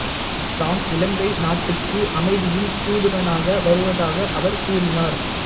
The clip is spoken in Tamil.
தாம் இலங்கை நாட்டுக்கு அமைதியின் தூதுவனாக வருவதாக அவர் கூறினார்